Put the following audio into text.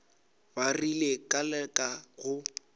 ba rile ka leka go